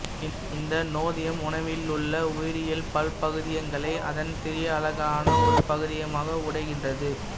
இந்த நொதியம் உணவிலுள்ள உயிரியல் பல்பகுதியங்களை அதன் சிறிய அலகான ஒருபகுதியமாக உடைக்கின்றது